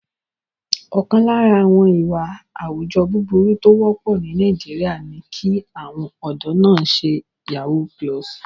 Ọ̀kan lára àwọn ìwà àwùjọ búburú tó wọ́pọ̀ ní Nàìjíríà ni kí àwọn ọ̀dọ́ náà ṣe yahoo+.